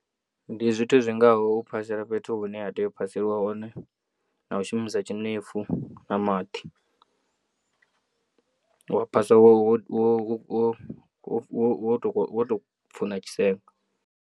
Ndi zwithu zwingaho u phasela fhethu hune ha tea u phaseliwa hone na u shumisa tshinefu na maḓi wa phasa wo wo wo tou pfuṋa tshisenga.